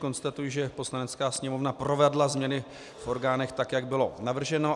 Konstatuji, že Poslanecká sněmovna provedla změny v orgánech tak, jak bylo navrženo.